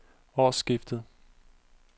årsskiftet